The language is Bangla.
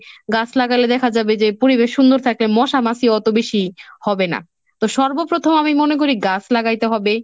গাছ লাগালে দেখা যাবে যে পরিবেশ সুন্দর থাকলে মশা মাছি অত বেশি হবে না। তো সর্ব প্রথম আমি মনে করি গাছ লাগাইতে হবে,